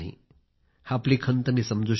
आपली खंत मी समजू शकतो